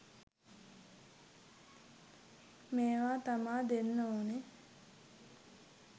මේවා තමා දෙන්න ඕනේ